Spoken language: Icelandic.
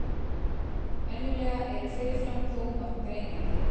Venjulega eru fyrirfram dómar greinandi.